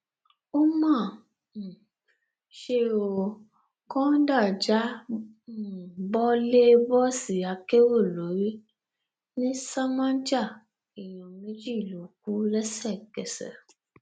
ó mà um ṣe ó kọńdà já um bọ lè bọọsì akérò lórí ńìlasàmájà èèyàn méjì ló kù lẹsẹkẹsẹ